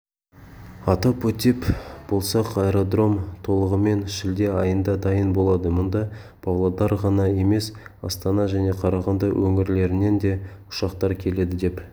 атап өтеп болсақ аэродром толығымен шілде айында дайын болады мұнда павлодардан ғана емес астана және қарағанды өңірлерінен де ұшақтар келеді деп